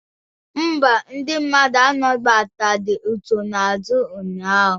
Mba, ndị mmadụ anabataghị nsonaazụ ụnyaahụ.